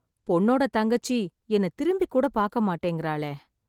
பொண்ணோட தங்கச்சி, என்னை திரும்பிக்கூட பாக்க மாட்டேங்கறாளே...